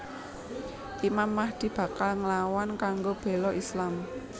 Imam Mahdi bakal nglawan kanggo béla Islam